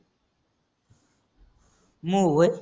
मग होय?